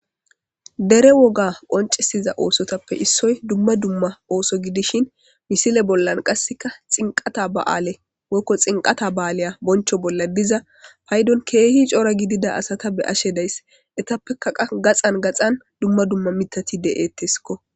Dere woga qoncesiza oosotappe issoy dumma dumma ooso gidishin misile bollan qasseka xinqata ba7aale woykko xinqata ba7aleya boncho bolla diza paydon keehi cora gidida asata be ashe dayss etappekaqa gaxan gaxan dumma dumma mitati de7etteskko